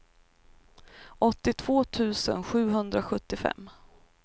åttiotvå tusen sjuhundrasjuttiofem